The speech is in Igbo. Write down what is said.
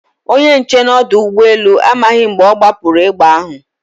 Onye nche n' ọdọụgbọelu amaghị mgbe ọ gbapụrụ egbe ahụ.